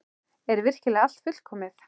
Er virkilega allt fullkomið?